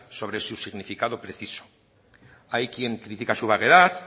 sobre su significado preciso hay quien critica su vaguedad